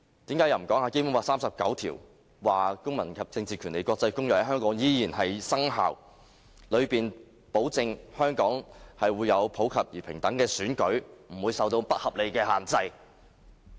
此外，為何不談談《基本法》第三十九條，說《公民權利和政治權利國際公約》在香港仍然生效，其中保證香港會有普及而平等的選舉，不會受到不合理的限制？